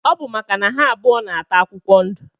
Ọbu maka na ha abụọ na ata akwụkwọ ndu.